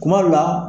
Kuma dɔw la